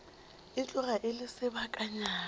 e tloga e le sebakanyana